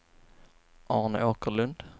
Arne Åkerlund